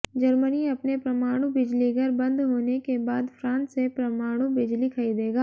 Germany अपने परमाणु बिजलीघर बंद होने के बाद फ्रांस से परमाणु बिजली खरीदेगा